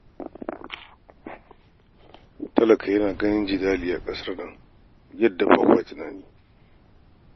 Talaka yana ganin jidali a ƙasar nan yadda ba kwa tunani